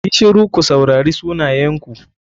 YI shiru ku saurari sunayenku.